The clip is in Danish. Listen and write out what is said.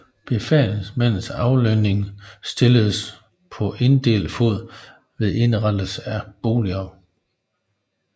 Befalingsmændenes aflønning stilledes på inddelt fod ved indrettelsen af boliger